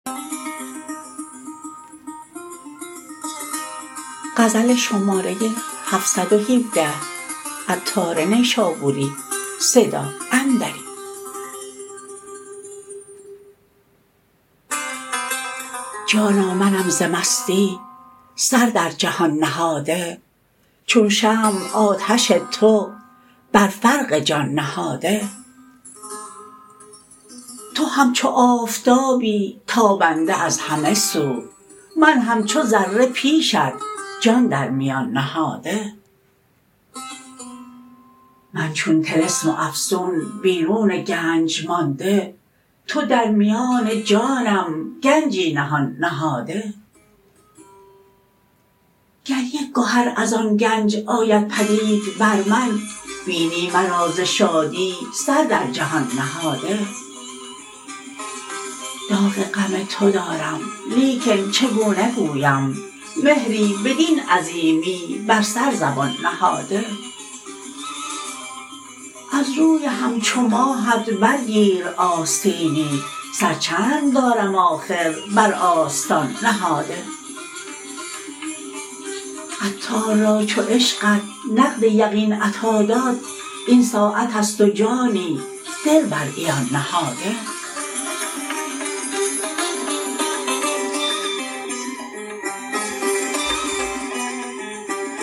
جانا منم ز مستی سر در جهان نهاده چون شمع آتش تو بر فرق جان نهاده تو همچو آفتابی تابنده از همه سو من همچو ذره پیشت جان در میان نهاده من چون طلسم و افسون بیرون گنج مانده تو در میان جانم گنجی نهان نهاده گر یک گهر از آن گنج آید پدید بر من بینی مرا ز شادی سر در جهان نهاده داغ غم تو دارم لیکن چگونه گویم مهری بدین عظیمی بر سر زبان نهاده از روی همچو ماهت بر گیر آستینی سر چند دارم آخر بر آستان نهاده عطار را چو عشقت نقد یقین عطا داد این ساعت است و جانی دل بر عیان نهاده